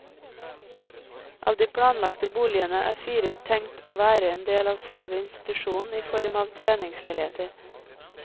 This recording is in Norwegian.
Av de planlagte boligene er fire tenkt å være en del av selve institusjonen i form av treningsleiligheter.